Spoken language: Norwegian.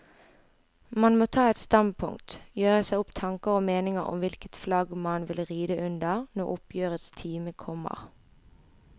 Man må ta et standpunkt, gjøre seg opp tanker og meninger om hvilket flagg man vil ride under når oppgjørets time kommer.